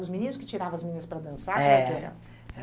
Os meninos que tiravam as meninas para dançar, como é que era?